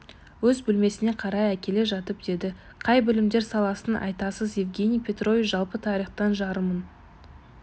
өз бөлмесіне қарай әкеле жатып деді қай білімдер саласын айтасыз евгений петрович жалпы тарихтан жарымын